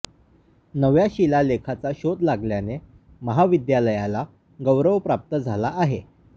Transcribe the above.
नव्या शिलालेखाचा शोध लागल्याने महाविद्यालयाला गौरव प्राप्त झाला आहे